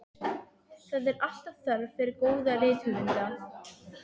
Það er alltaf þörf fyrir góða rithöfunda.